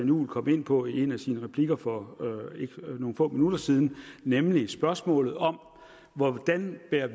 juhl kom ind på i en af sine replikker for nogle få minutter siden nemlig spørgsmålet om hvordan vi bærer